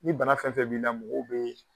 Ni bana fɛn fɛn b'i la mɔgɔw bɛ